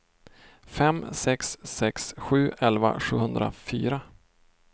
fem sex sex sju elva sjuhundrafyra